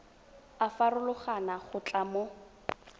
a farologana go tloga mo